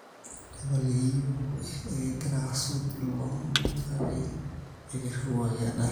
tapaliki iyiok ekigira aasuj ilo omoni kake ekiriu enkae ndaa